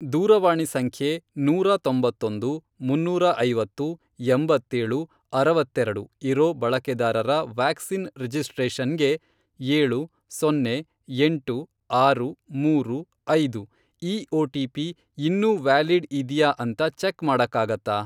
ದೂರವಾಣಿ ಸಂಖ್ಯೆ ನೂರಾ ತೊಂಬತ್ತೊಂದು, ಮುನ್ನೂರ ಐವತ್ತು, ಎಂಬತ್ತೇಳು, ಅರವತ್ತೆರೆಡು, ಇರೋ ಬಳಕೆದಾರರ ವ್ಯಾಕ್ಸಿನ್ ರಿಜಿಸ್ಟ್ರೇಷನ್ಗೆ, ಏಳು, ಸೊನ್ನೆ, ಎಂಟು, ಆರು, ಮೂರು, ಐದು, ಈ ಒಟಿಪಿ ಇನ್ನೂ ವ್ಯಾಲಿಡ್ ಇದ್ಯಾ ಅಂತ ಚೆಕ್ ಮಾಡಕ್ಕಾಗತ್ತಾ?